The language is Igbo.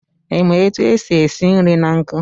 I ma otu esi esi nri na nkụ?